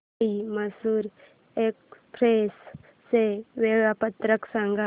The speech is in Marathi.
शिर्डी मैसूर एक्स्प्रेस चे वेळापत्रक सांग